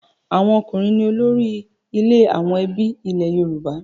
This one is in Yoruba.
Àwọn ọkùnrin ní olórí ilé àwọn ẹbí ilẹ̀ Yorùbá.